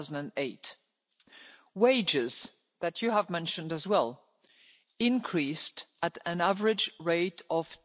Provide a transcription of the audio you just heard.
2008. Wages, as you have mentioned as well, increased at an average rate of